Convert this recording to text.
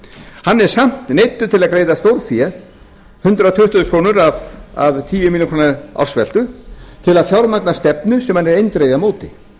hann er samt neyddur til að greiða stórfé hundrað tuttugu þúsund krónur af tíu milljónir króna ársveltu til að fjármagna stefnu sem hann er eindregið á móti